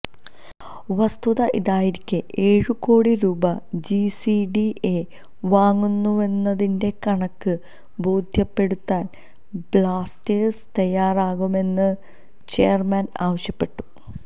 വസ്തുത ഇതായിരിക്കെ ഏഴു കോടി രൂപ ജിസിഡിഎ വാങ്ങുന്നുവെന്നതിന്റെ കണക്ക് ബോധ്യപെടുത്താന് ബ്ലാസ്റ്റേഴ്സ് തയാറാകണമെന്നും ചെയര്മാന് ആവശ്യപ്പെട്ടു